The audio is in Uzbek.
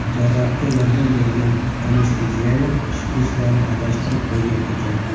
Jarrohga yordam bergan anesteziolog shprislarni adashtirib qo‘ygan ekan.